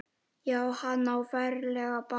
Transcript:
Já, hann á ferlega bágt.